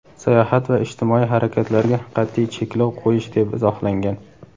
sayohat va ijtimoiy harakatlarga qat’iy cheklov qo‘yish deb izohlangan.